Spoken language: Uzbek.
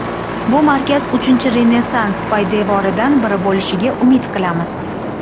Bu markaz Uchinchi Renessans poydevoridan biri bo‘lishiga umid qilamiz.